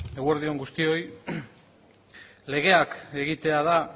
eguerdi on guztioi legeak egitea